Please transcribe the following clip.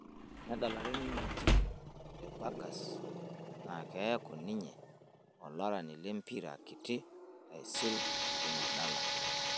enedlare ninye entim e bagas naa kiaku ninye olarani lempira kiti aisul teina dala